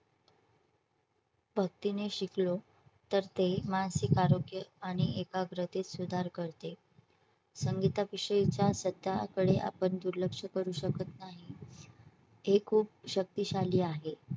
भक्तीने शिकलो तर ते मानसिक आरोग्य आणि एकाग्रतेत सुधार करते संगीता विषयीच्या सध्याकडे आपण दुर्लक्ष करू शकत नाही हे खूप शक्तीशाली आहे